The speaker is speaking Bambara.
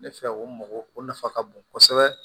Ne fɛ o mɔgɔ o nafa ka bon kosɛbɛ